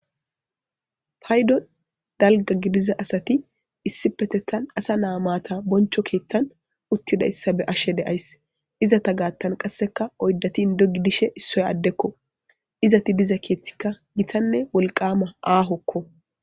Payddon dalgga gididda assati issifetettan assa na'a matta bonchcho keeththan utiidayssa be'ashshe de'ays izetta gattan qasseka oydati inddo gidishshin issoy adekko izetti diza keththika gittanne wolqama aahokko